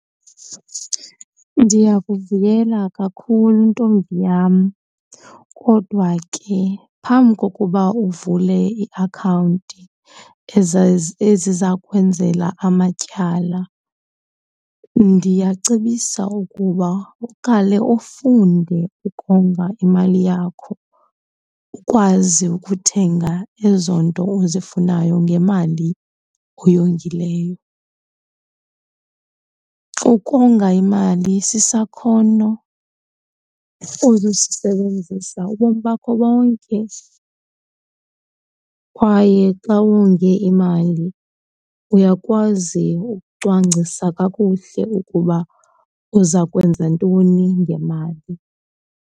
Ndiyakuvuyela kakhulu, ntombi yam, kodwa ke phambi kokuba uvule iakhawunti eziza kwenzela amatyala ndiyacebisa ukuba uqale ufunde ukonga imali yakho, ukwazi ukuthenga ezo nto uzifunayo ngemali oyingileyo. Ukonga imali sisakhono ozosisebenzisa ubomi bakho bonke kwaye xa wonge imali, uyakwazi ukucwangcisa kakuhle ukuba uza kwenza ntoni ngemali.